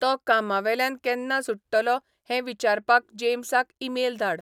तो कामावेल्यान केन्ना सुट्टलो हें विचारपाक जेम्साक ईमेल धाड